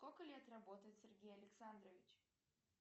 сколько лет работает сергей александрович